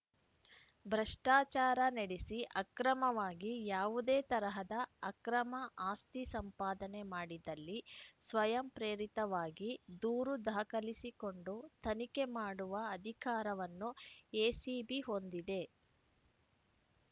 ಭ್ರಷ್ಟಾಚಾರ ನಡೆಸಿ ಅಕ್ರಮವಾಗಿ ಯಾವುದೇ ತರಹದ ಅಕ್ರಮ ಆಸ್ತಿ ಸಂಪಾದನೆ ಮಾಡಿದಲ್ಲಿ ಸ್ವಯಂ ಪ್ರೇರಿತವಾಗಿ ದೂರು ದಾಖಲಿಸಿಕೊಂಡು ತನಿಖೆ ಮಾಡುವ ಅಧಿಕಾರವನ್ನು ಎಸಿಬಿ ಹೊಂದಿದೆ